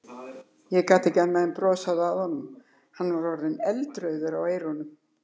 Ég gat ekki annað en brosað að honum, hann var orðinn eldrauður á eyrunum.